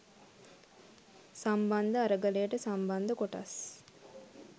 සම්බන්ධ අරගලයට සම්බන්ධ කොටස්